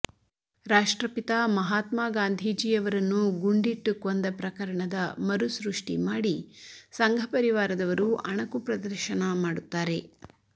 ರಾಷ್ಟ್ರಪಿತ ಮಹಾತ್ಮ ಗಾಂಧೀಜಿ ಅವರನ್ನು ಗುಂಡಿಟ್ಟು ಕೊಂದ ಪ್ರಕರಣದ ಮರುಸೃಷ್ಟಿ ಮಾಡಿ ಸಂಘ ಪರಿವಾರದವರು ಅಣಕು ಪ್ರದರ್ಶನ ಮಾಡುತ್ತಾರೆ